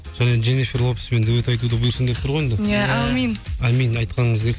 енді дженифер лопеспен дуэт айтуды бұйырсын деп тұр ғой енді әумин айтқаныңыз келсін